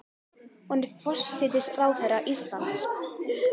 Hún er forsætisráðherra Íslands.